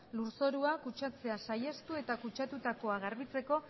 lurzorua kutsatzea saihestu eta kutsatutakoa garbitzeko